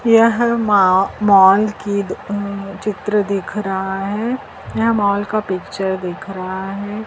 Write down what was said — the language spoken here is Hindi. यह मा मॉल की अ चित्र दिख रहा है यह मॉल का पिक्चर दिख रहा है।